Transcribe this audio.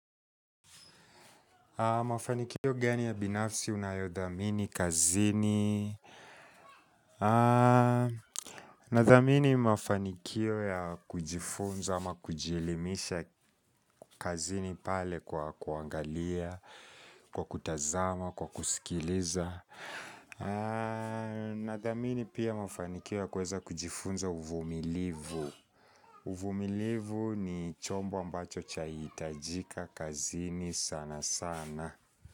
Mafanikio gani ya binafsi unayodhamini kazini. Nadhamini mafanikio ya kujifunza ama kujielimisha kazini pale kwa kuangalia, kwa kutazama, kwa kusikiliza. Nadhamini pia mafanikio ya kuweza kujifunza uvumilivu. Uvumilivu ni chombo ambacho chahitajika kazini sana sana.